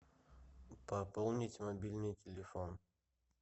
пополнить мобильный телефон